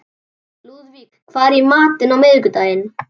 Lúðvík, hvað er í matinn á miðvikudaginn?